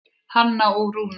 Hanna og Rúnar.